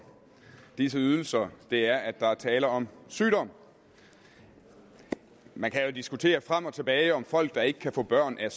disse ydelser er at der er tale om sygdom man kan jo diskutere frem og tilbage om folk der ikke kan få børn er